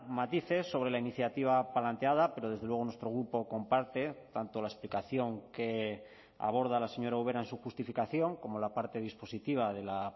matices sobre la iniciativa planteada pero desde luego nuestro grupo comparte tanto la explicación que aborda la señora ubera en su justificación como la parte dispositiva de la